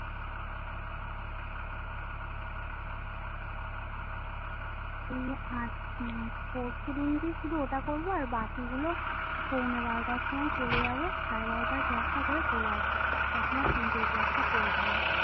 মানে পড়শুদিনকে শুধু ওটা করো বাকি গুলো শুধু পৌনে বারোটায় সময় চলে যাবো সাড়ে বারোটার Class টা করবো চলে এসব তখন আর তিনটের Class টা করবোনা